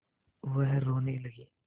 वह रोने लगी